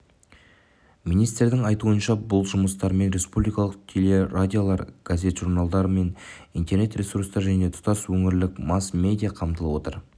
министрдің айтуынша бұл жұмыстармен республикалық телерадиолар газет-журналдар мен интернет ресурстар және тұтас өңірлік масс-медиа қамтылып отыр